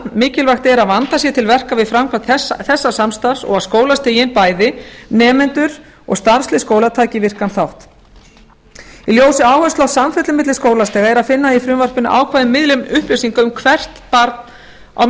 mikilvægt er að vandað sé til verka við framkvæmd þessa samstarfs og að skólastigin bæði nemendur og starfslið skóla taki virkan þátt í ljósi áherslu á samfellu milli skólastiga er að finna í frumvarpinu ákvæði um miðlun upplýsinga um hvert barn á